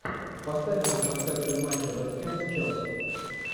поставь нам трансляцию матча вест хэм челси